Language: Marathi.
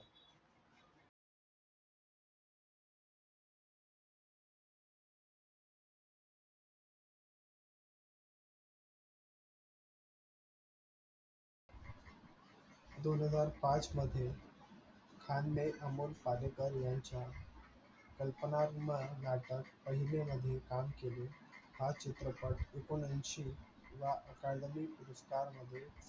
दोन हजार पाच मध्ये, खांदे आमोल पालेकरच्या यांच्या कल्पनात्मक नाटक पहिले वहिले काम केले. हा चित्रपट अकुननेशिव academic पुरस्कार मध्ये